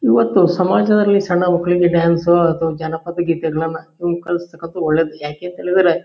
ಇವತ್ತು ಸಮಾಜದಲ್ಲಿ ಸಣ್ಣ ಮಕ್ಕಳಿಗೆ ಡಾನ್ಸ್ ಅಂಥವ ಜಾನಪದ ಗೀತೆಗಳನ್ನ ಈಗ್ ಕಲ್ಸ್ ತಕಂತದ್ದು ಒಳ್ಳೇದು ಯಾಕೆ ಅಂತ ಹೇಳಿದ್ರೆ.